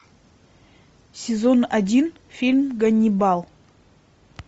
сезон один фильм ганнибал